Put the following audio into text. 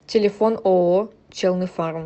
телефон ооо челныфарм